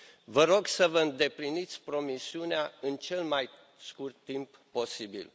Vă rog să vă îndepliniți promisiunea în cel mai scurt timp posibil.